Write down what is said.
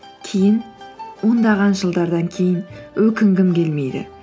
кейін ондаған жалдардан кейін өкінгім келмейді